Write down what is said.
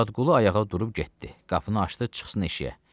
Muradqulu ayağa durub getdi, qapını açdı çıxsın eşiyə.